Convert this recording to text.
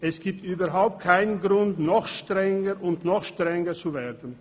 Es gibt überhaupt keinen Grund, noch strenger und noch strenger zu werden.